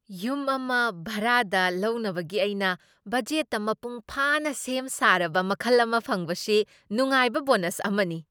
ꯌꯨꯝ ꯑꯃ ꯚꯥꯔꯥꯗ ꯂꯧꯅꯕꯒꯤ ꯑꯩꯒꯤ ꯕꯖꯦꯠꯇꯥ ꯃꯄꯨꯡ ꯐꯥꯅꯥ ꯁꯦꯝ ꯁꯥꯔꯕ ꯃꯈꯜ ꯑꯃ ꯐꯪꯕꯁꯤ ꯅꯨꯡꯉꯥꯏꯕ ꯕꯣꯅꯁ ꯑꯃꯅꯤ꯫